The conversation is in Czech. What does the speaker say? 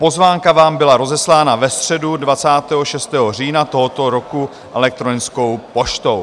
Pozvánka vám byla rozeslána ve středu 26. října tohoto roku elektronickou poštou.